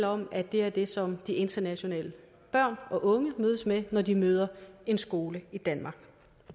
om at det er det som de internationale børn og unge mødes med når de møder en skole i danmark